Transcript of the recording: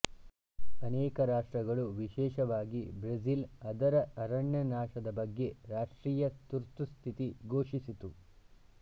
ಅನೇಕ ರಾಷ್ಟ್ರಗಳು ವಿಶೇಷವಾಗಿ ಬ್ರೆಜಿಲ್ ಅದರ ಅರಣ್ಯನಾಶದ ಬಗ್ಗೆ ರಾಷ್ಟ್ರೀಯ ತುರ್ತುಸ್ಥಿತಿ ಘೋಷಿಸಿತು